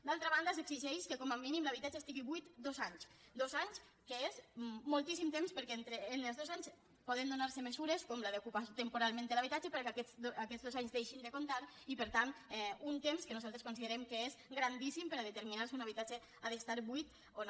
d’altra banda s’exigeix que com a mínim l’habitatge estigui buit dos anys dos anys que és moltíssim temps perquè en els dos anys poden donarse mesures com la d’ocuparse temporalment l’habitatge perquè aquests dos anys deixin de comptar i per tant un temps que nosaltres considerem que és grandíssim per a determinar si un habitatge ha d’estar buit o no